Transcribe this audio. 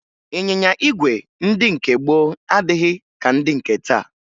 Ịnyịnya ígwè ndị nke gboo adịghị ka ndị nke taa